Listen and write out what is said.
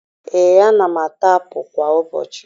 Ee, ana m ata apụ kwa ụbọchị